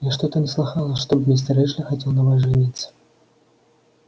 я что-то не слыхала чтоб мистер эшли хотел на вас жениться